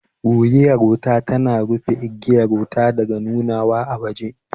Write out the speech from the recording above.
Wuriyar wuta tana rufe igiyar wuta daga nunawa a waje